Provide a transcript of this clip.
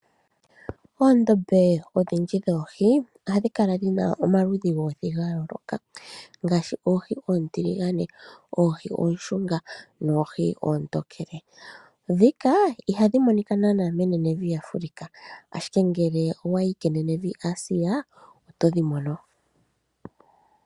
Oondombe odhindji dhoohi ohadhi kala dhina omaludhi goohi dhayooloka, ngaashi oohi oontiligane, oohi oonshunga noohi oontokele. Ndhika ihadhi monika naanaa menenevi Africa ashike ngele owayi kenenevi Asia otodhi mono.